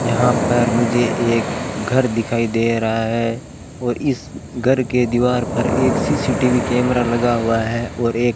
यहां पर मुझे एक घर दिखाई दे रहा है और इस घर के दीवार पर एक सी_सी_टी_वी कैमरा लगा हुआ है और एक--